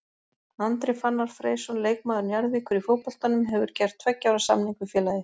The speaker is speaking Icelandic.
Andri Fannar Freysson leikmaður Njarðvíkur í fótboltanum hefur gert tveggja ára samning við félagið.